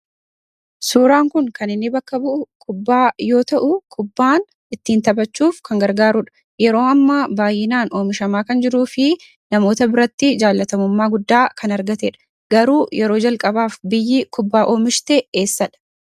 Suuraan kun kan inni bakka bu'u kubbaa yoo ta'u, kubbaan ittiin taphachuuf kan gargaaruudha. Yeroo ammaa baay'inaan oomishamaa kan jiruu fi namoota biratti jaalatamummaa guddaa kan argatee dha. Garuu yeroo jalqabaaf biyyi kubbaa oomishte eessadha?